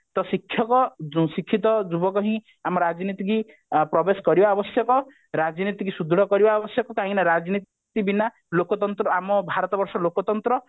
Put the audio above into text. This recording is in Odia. ଶିକ୍ଷକ ଶିକ୍ଷିତ ଯୁବକ ହିଁ ଆମ ରାଜନୀତିକି ପ୍ରବେଶ କରିବା ଆବଶ୍ୟକ ରାଜନୀତିକି ସୁଦୃଢ କରିବା ଆବଶ୍ୟକ କାହିଁକି ନା ରାଜନୀତି ବିନା ଲୋକତନ୍ତ୍ର ଆମ ଭାରତବର୍ଷର ଲୋକତନ୍ତ୍ର